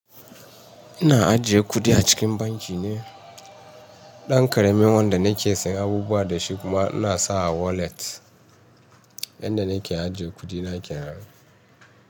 Ina ajiye kuɗi a cikin banki ne. Ɗan ƙaramin wanda nake yin abubuwa da shi kuma ina sa a walet yanda nake ajiye kuɗi nake nan.